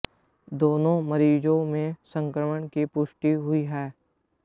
दोनों मरीजों में संक्रमण की पुष्टि हुई है